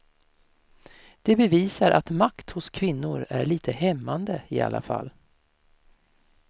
Det bevisar att makt hos kvinnor är lite hämmande i alla fall.